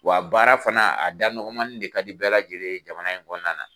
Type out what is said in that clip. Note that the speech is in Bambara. Wa baara fana a da nɔgɔmani de ka di bɛɛ lajɛlen ye jamana in kɔnɔna na.